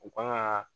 U kan ka